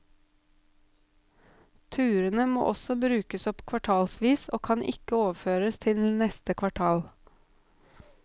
Turene må også brukes opp kvartalsvis og kan ikke overføres til neste kvartal.